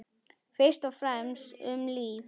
Fyrst og fremst um líf.